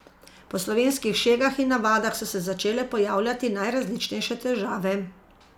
Po slovenskih šegah in navadah so se začele pojavljati najrazličnejše težave.